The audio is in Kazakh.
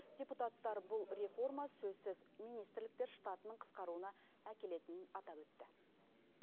депутаттар бұл реформа сөзсіз министрліктер штатының қысқаруына әкелетінін атап өтті